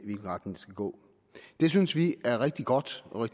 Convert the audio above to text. skal gå det synes vi er rigtig godt og